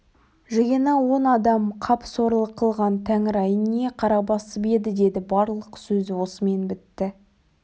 жиыны он адам қап сорлы қылған тәңір-ай не қара басып еді деді барлық сөзі осымен бітті